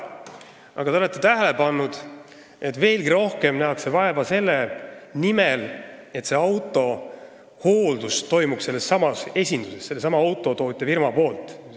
Aga te olete kindlasti tähele pannud, et veelgi rohkem vaeva nähakse selle nimel, et selle auto hooldus toimuks sellessamas esinduses, sellesama autotootja firmas.